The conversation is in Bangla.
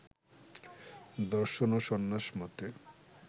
দর্শন ও সন্ন্যাস মতে